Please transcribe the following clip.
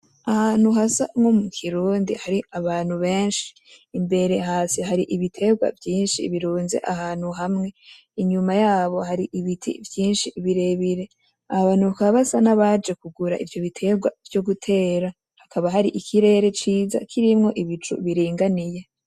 Ahantu hasa nko mu kirundi hari abantu benshi, imbere hasi hari ibitegwa vyinshi birunze ahantu hamwe, inyuma yabo hari ibiti vyinshi birebire, abo bantu bakaba basa nabaje kugura ivyo bitegwa vyo gutera, hakaba hari ikirere ciza kirimwo ibicu biringaniye.